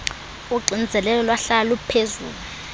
uxinzelelo lwahlala luphezulu